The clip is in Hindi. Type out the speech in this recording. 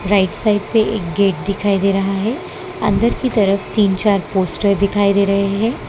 राइट साइड पे एक गेट दिखाई दे रहा है अंदर की तरफ तीन चार पोस्टर दिखाई दे रहे हैं।